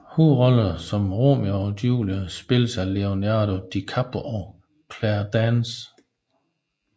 Hovedrollerne som Romeo og Julie spilles af Leonardo DiCaprio og Claire Danes